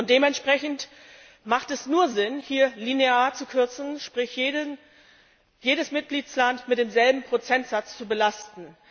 Und dementsprechend macht es nur Sinn, hier linear zu kürzen, sprich jedes Mitgliedsland mit demselben Prozentsatz zu belasten.